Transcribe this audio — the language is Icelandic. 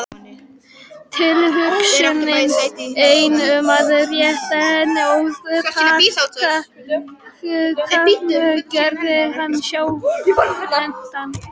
Tilhugsunin ein um að rétta henni ópalpakkann gerði hann skjálfhentan.